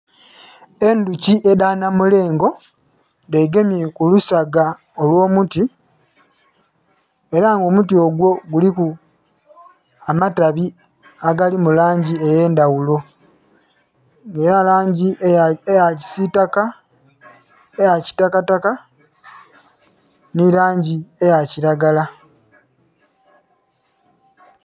Endhoki edha namulengo dhegemye ku lusaga olwomuti era nga omuti ogwo giliku amatabi agali mulangi ege ndhaghulo, dhilina langi eya kisitaka, eya kitaka taka nhe ya kilagala.